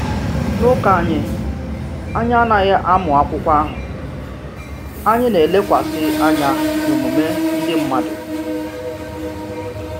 N’ụka anyị, anyị anaghị amụ akwụkwọ ahụ, anyị na-elekwasị anya n’omume ndị mmadụ.